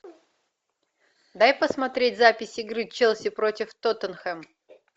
дай посмотреть запись игры челси против тоттенхэм